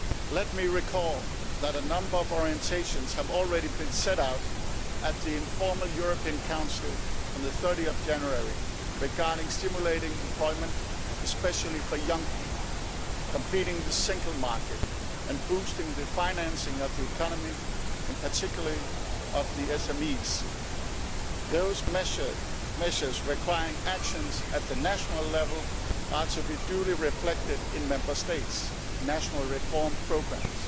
Let me recall that a number of orientations have already been set out at the informal European Council on 30 January regarding stimulating employment, especially for young people, completing the single market and boosting the financing of the economy, in particular of the SMEs. Those measures requiring actions at the national level are to be duly reflected in Member States' national reform programmes.